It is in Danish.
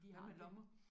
Hvad med lommer?